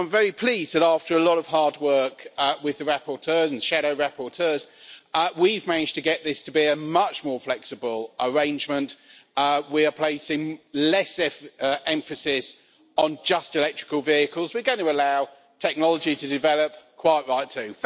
So, I'm very pleased that after a lot of hard work with the rapporteurs and shadow rapporteurs, we've managed to get this to be a much more flexible arrangement, we are placing less emphasis on just electrical vehicles, and we are going to allow technology to develop quite right too.